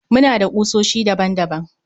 Muna da kusoshi daban daban